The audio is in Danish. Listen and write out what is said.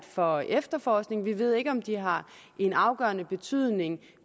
for efterforskningen vi ved ikke om de har en afgørende betydning